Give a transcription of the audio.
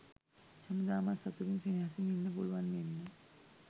හැමදාමත් සතුටින් සෙනෙහසින් ඉන්න පුළුවන් වෙන්න